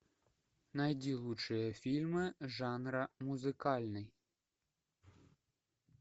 найди лучшие фильмы жанра музыкальный